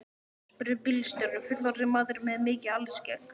spurði bílstjórinn, fullorðinn maður með mikið alskegg.